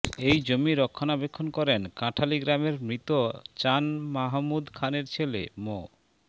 এই জমি রক্ষণাবেক্ষণ করেন কাঁঠালী গ্রামের মৃত চান মাহমুদ খানের ছেলে মো